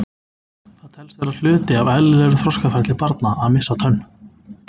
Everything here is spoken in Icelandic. það telst vera hluti af eðlilegu þroskaferli barna að missa tönn